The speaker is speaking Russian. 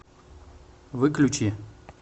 выключи